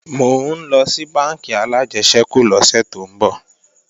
Mò ńlọ sí bánkì alájẹsẹ́kù lọ́sè tó ń bọ̀